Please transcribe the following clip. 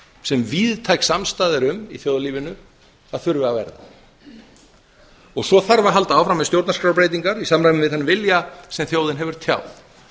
sem víðtæk samstaða er um í þjóðlífinu að þurfi að vera svo þarf að halda áfram með stjórnarskrárbreytingar í samræmi við þann vilja sem þjóðin hefur tjáð